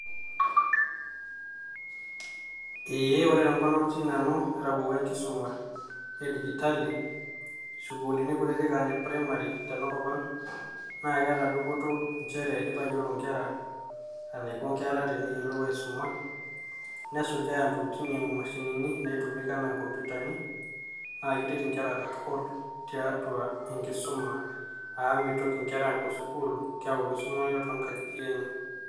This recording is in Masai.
Eeeh ore tenkop natii nanu netabaeua enkisuma e digitali sukuulini kutitik aa ine primary tenakop ang naa keeta dupoto inchere keitayiolo ingera enaiko ingera teneyiolou aisuma nesujaa intokitin aa imashinini enaa inkomputani naakeret inkera tiatua enkisuma amu mitoki inkera aapuo sukuul keeku keisuma eke toonkajijik enye.